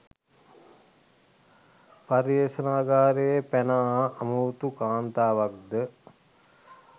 පර්යේෂගාරයෙන් පැන ආ අමුතු කාන්තාවක්ද